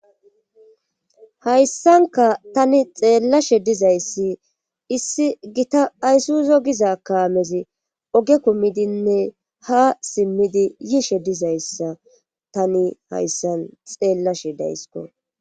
hayssanka tani xeellashe dizayssi issi gita aysuzo giza kaamezi oge kumidinne ha simmidi yiishe dizayssa tani hayssan xeellashe daysko